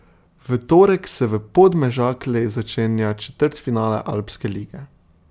V torek se v Podmežakli začenja četrtfinale Alpske lige.